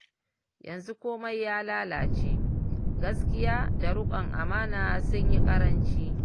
yanzu komai ya lalace, gaskiya da riƙon amana sun yi ƙaranci